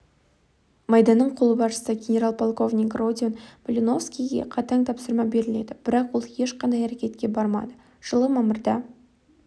майданның қолбасшысы генерал-полковник родион малиновскийге қатаң тапсырма беріледі бірақ ол ешқандай әрекетке бармады жылы мамырда